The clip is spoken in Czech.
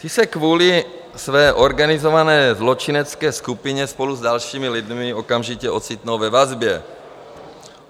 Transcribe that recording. Ti se kvůli své organizované zločinecké skupině spolu s dalšími lidmi okamžitě ocitnou ve vazbě.